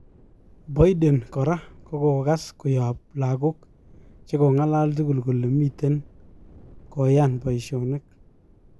Boyden kora kokokas koyap lagok chekongala tugul kole miten koyan paishonik